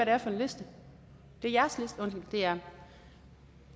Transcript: er for en liste det er